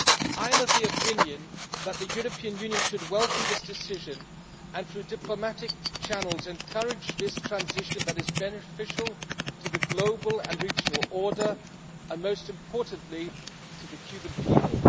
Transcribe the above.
I am of the opinion that the European Union should welcome this decision and, through diplomatic channels, encourage this transition that is beneficial to the global and regional order and, most importantly, to the Cuban people.